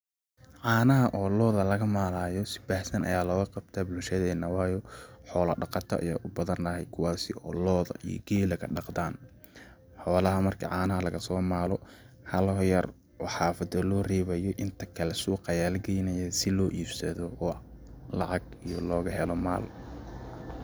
Caanaha oo looda laga maalayo si baahsan ayaa looga qabtaa bulshadeena waayo xoola dhaqato ayaa u badan ,kuwaaasi oo looda iyo geelaga dhaqdaan ,xoolaha marki caanaha lagasoo maalo haloho yar oo xafada loo reebayo ,inta kale suuqa ayaa la geynayaa si loo iibsado oo lacag iyo looga helo maal.